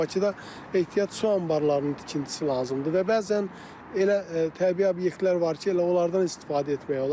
Bakıda ehtiyat su anbarlarının tikintisi lazımdır və bəzən elə təbii obyektlər var ki, elə onlardan istifadə etmək olar.